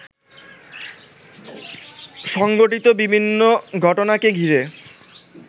সংঘঠিত বিভিন্ন ঘটনাকে ঘিরে